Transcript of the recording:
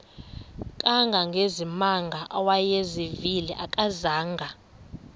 kangangezimanga awayezivile akazanga